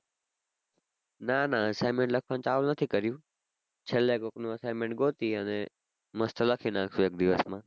ના ના assignment લખવાનું ચાલુ નથી કર્યું છેલ્લે કોકનું assignment ગોતી અને mast લખી નાખું એક દિવસ માં